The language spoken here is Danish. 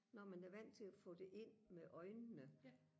når man er vant til og få det ind med øjnene